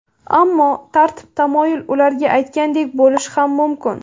Ammo tartib-tamoyil ular aytgandek bo‘lishi ham mumkin.